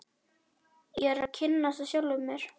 Ég er að kynnast sjálfum mér.